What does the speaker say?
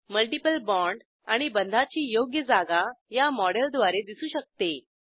multiple bond आणि बंधाची योग्य जागा या मॉडेलद्वारे दिसू शकते